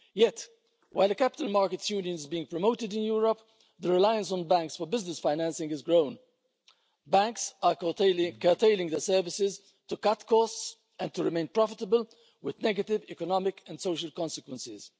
Yet, while the Capital Markets Union is being promoted in Europe, the reliance on banks for business financing has grown. Banks are curtailing their services to cut costs and to remain profitable, with negative economic and social consequences.